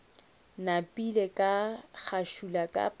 napile ka ngašula ka pharola